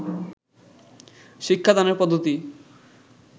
শিক্ষাদানের পদ্ধতি